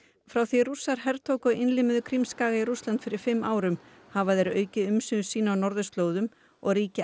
frá því Rússar hertóku og innlimuðu Krímskaga í Rússland fyrir fimm árum hafa þeir aukið umsvif sín á norðurslóðum og ríki